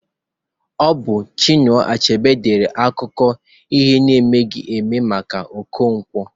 Ọ bụ Chinua Achebe dere akụkọ ahụ n'emeghi eme maka Okonkwo